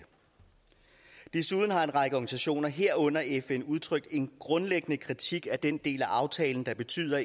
desuden har en række organisationer herunder fn udtrykt en grundlæggende kritik af den del af aftalen der betyder